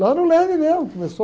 Lá no Leme mesmo, começou